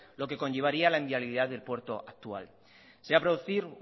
lo que conllevaría la inviabilidad del puerto actual se va a producir